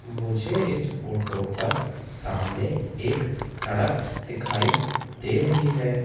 मुझे इस फोटो पर सामने एक सड़क दिखाई दे रही हैं।